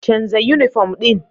Canza yunifom ɗin.